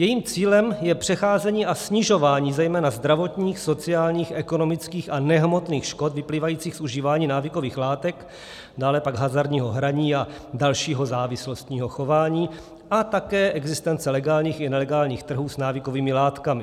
Jejím cílem je předcházení a snižování zejména zdravotních, sociálních, ekonomických a nehmotných škod vyplývajících z užívání návykových látek, dále pak hazardního hraní a dalšího závislostního chování a také existence legálních i nelegálních trhů s návykovými látkami.